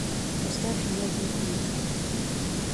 поставь нет нет нет